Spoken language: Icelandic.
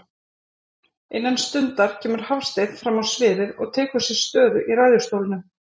Innan stundar kemur Hafsteinn frammá sviðið og tekur sér stöðu í ræðustólnum.